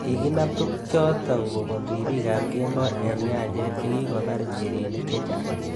Kikinam tukchotok kobun ripikab kemboi eng nyanjet chekikobar njirenik chechang